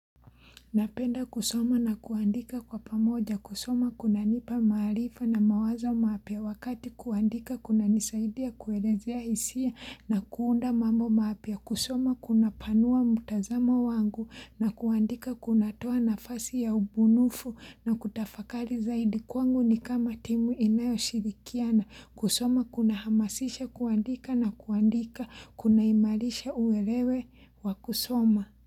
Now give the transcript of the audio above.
Napenda kusoma na kuandika kwa pamoja kusoma kuna nipa marifa na mawazo mapua wakati kuandika kuna nisaidia kuelezea hisia na kuunda mambo mapya kusoma kunapanua mutazamo wangu na kuandika kuna toa nafasi ya ubunufu na kutafakali zaidi kwangu ni kama timu inayo shirikiana kusoma kuna hamasisha kuandika na kuandika kuna imalisha uwelewe wa kusoma.